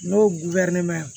N'o